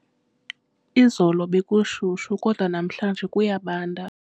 Izolo bekushushu kodwa namhlanje kuyabanda.